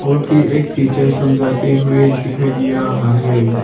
एक टीचर समझाती हुई दिखाई दे रहा है।